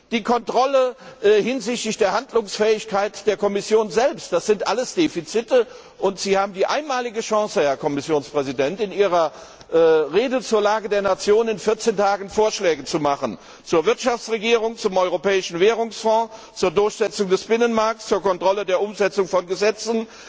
die Kontrolle hinsichtlich der Handlungsfähigkeit der Kommission selbst, das sind alles Defizite! Sie haben die einmalige Chance, Herr Kommissionspräsident, in Ihrer Rede zur Lage der Nation in vierzehn Tagen Vorschläge zu machen zur Wirtschaftsregierung, zum Europäischen Währungsfonds, zur Durchsetzung des Binnenmarkts, zur Kontrolle der Umsetzung von Gesetzen,